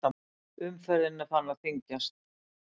Umferð farin að þyngjast